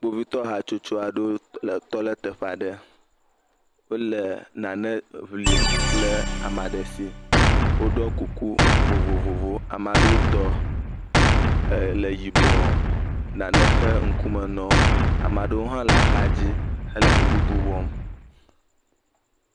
Kpovitɔ hatsotso aɖewo le tɔ ɖe teƒe aɖe. Wole nane ŋlim le ame aɖe si. Woɖɔ kuku vovovowo, ame aɖewo tɔ le yibɔ, nane xe ŋkume na wo, ame aɖewo hã le axadzi he nu bubu wɔm.